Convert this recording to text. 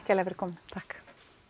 kærlega fyrir komuna takk